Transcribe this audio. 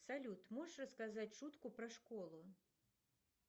салют можешь рассказать шутку про школу